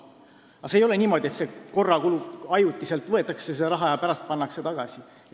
Ei ole niimoodi, et ajutiselt võetakse see raha ja pärast pannakse tagasi.